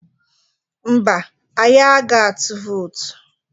Mba, anyị aga ịtụ vootu.